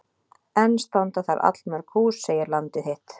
Enn standa þar allmörg hús segir Landið þitt.